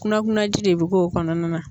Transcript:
Kunakunanji de bɛ k'o kɔnɔna na.